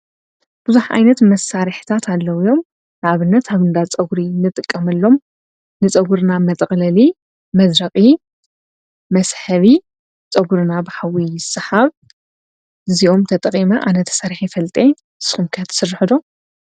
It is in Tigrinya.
ብዙኅ ዓይነት መሳርሕታት ኣለዉ ዮም ኣብነት ኣብንዳ ጸጕሪ ንጥቀመሎም ንጸጕርና መጠቕለሊ መዘረቒ መስሀቢ ጸጕርና ብሃዊ ሰሓብ ዚኦም ተጠቒመ ኣነተ ሠርሒ ፈልጤ ስምካያት ስርኅዶ።